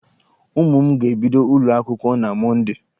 Ụmụ m ga-ebido ụlọ akwụkwọ na Mọndee.